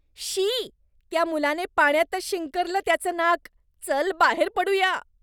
शी! त्या मुलाने पाण्यातच शिंकरलं त्याचं नाक. चल, बाहेर पडूया.